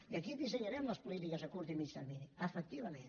i aquí dissenyarem les polítiques a curt i mitjà termini efectivament